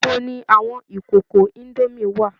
Ibo ni àwọn ìkòkò indomie wà?